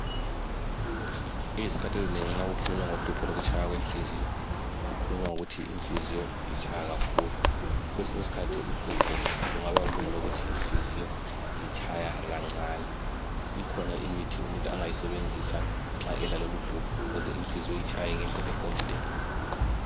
Izikhathi ezinengi nxa kukhulunywa ngohlupho lokutshaya kwenhliziyo, kukhulunywa ngokuthi inhliziyo itshaya kakhulu. Kwesinye isikhathi uhlupho lungaba ngolokuthi inhliziyo itshaya kancani, ikhona imithi umuntu angayisebenzisa nxa elaloluhlupho ukuze inhliziyo itshaye ngendlela eqondileyo.